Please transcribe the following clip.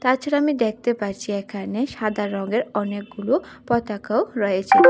তাছাড়া আমি দেখতে পারছি এখানে সাদা রঙের অনেকগুলো পতাকাও রয়েছে।